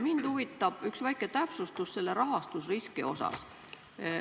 Mind huvitab üks väike täpsustus selle rahastusriski osas.